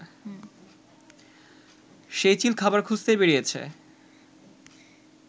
সেই চিল খাবার খুঁজতেই বেরিয়েছে